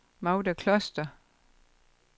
Magda Kloster